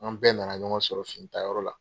An bɛɛ nana ɲɔgɔn sɔrɔ finitayɔrɔ la.